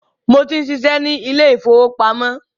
Mo tí ń ṣiṣẹ́ ni ilé ìfowópamọ́